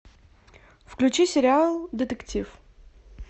включи сериал детектив